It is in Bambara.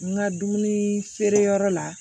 N ka dumuni feere yɔrɔ la